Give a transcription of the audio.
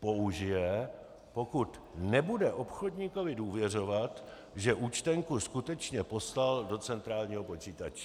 použije, pokud nebude obchodníkovi důvěřovat, že účtenku skutečně poslal do centrálního počítače.